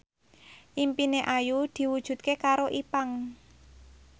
impine Ayu diwujudke karo Ipank